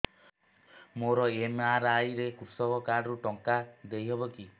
ମୋର ଏମ.ଆର.ଆଇ ରେ କୃଷକ କାର୍ଡ ରୁ ଟଙ୍କା ଦେଇ ହବ କି